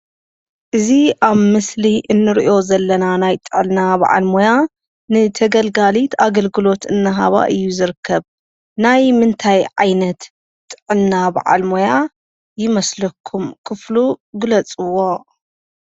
እዚ ኣብ ምስሊ እንሪኦ ዘለና ናይ ጥዕና ባዓል ሞያ ንተገልጋሊት ኣገልግሎት እናሃባ እዩ ዝርከብ፡፡ ናይ ምንታይ ዓይነት ጥዕና ባዓል ሞያ ይመስለኩም? ክፍሉ ግለፅዎ?